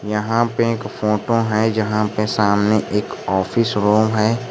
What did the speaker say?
यहां पे एक फोटो है जहां पे सामने एक ऑफिस रूम है।